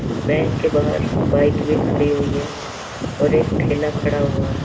Bank के बाहर bike भी खाड़ी हुई है और एक ठेला खड़ा हुआ हे।